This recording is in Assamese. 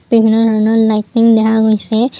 বিভিন্ন ধৰণৰ লাইটিং দেখা গৈছে।